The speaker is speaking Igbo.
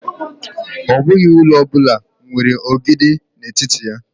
Ọ bụghị ụlọ ọ bụla nwere ogidi n'etiti ya.